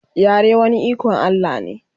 yare wani iKon Allah ne